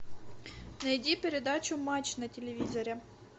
найди передачу матч на телевизоре